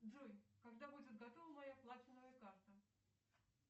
джой когда будет готова моя платиновая карта